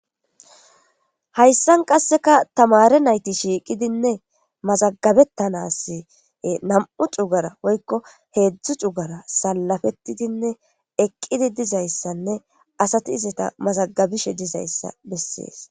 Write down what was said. hayssan qasseka tamare nayti shiiqidinne mazagabettanas nam7u cugara woykko heedzdzu cugara sallafetidinne eqqidi dizayssanne asati izata mazagabishe dizayssa bessees